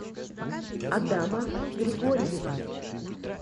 адама григорьева